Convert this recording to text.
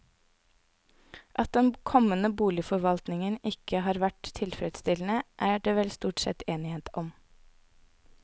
At den kommende boligforvaltningen ikke har vært tilfredsstillende, er det vel stort sett enighet om.